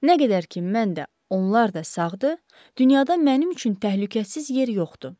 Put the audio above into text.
Nə qədər ki, mən də, onlar da sağdır, dünyada mənim üçün təhlükəsiz yer yoxdur.